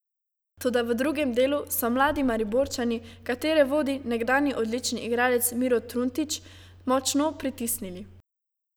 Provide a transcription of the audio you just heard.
Toda v drugem delu so mladi Mariborčani, katere vodi nekdanji odlični igralec Miro Truntič, močno pritisnili.